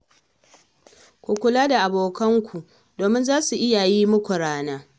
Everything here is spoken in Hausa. Ku kula da abokanku domin za su iya yi muku rana.